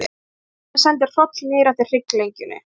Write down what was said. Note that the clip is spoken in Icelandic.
Tilhugsunin sendi hroll niður eftir hrygglengjunni.